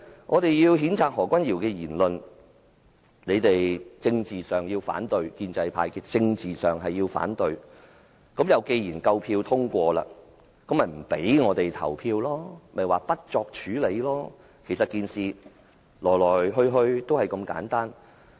我們要譴責何君堯議員的言論，建制派在政治上要反對，而既然你們有足夠票數可通過議案，不讓我們投票，於是便提出不作處理的議案，整件事情其實就是如此簡單。